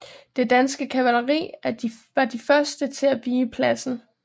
Det danske kavalleri var de første til at vige pladsen